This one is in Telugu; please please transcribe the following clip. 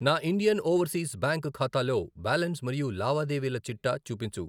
నా ఇండియన్ ఓవర్సీస్ బ్యాంక్ ఖాతాలో బ్యాలెన్స్ మరియు లావాదేవీల చిట్టా చూపించు.